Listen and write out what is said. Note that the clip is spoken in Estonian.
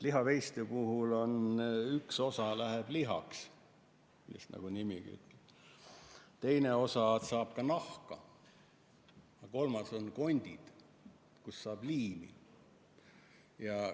Lihaveiste puhul üks osa toodangust läheb lihaks, nagu nimigi ütleb, teine osa on, et saab nahka, ja kolmandaks on kondid, millest saab liimi valmistada.